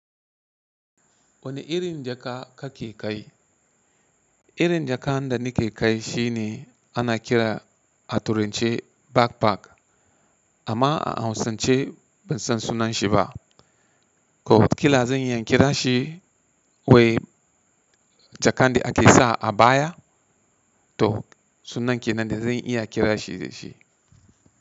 Wane irin jaka kake kai? Irin jaka da nike kai shine ana kira a turence backpack amma a hausance ban san sunan shi ba. Ko watakila zan iya kira shi wai jaka da ake sa a baya to sunan kenan ne zan iya kira shi da shi.